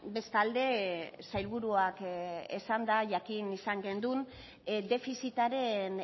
bestalde sailburuak esanda jakin izan genuen defizitaren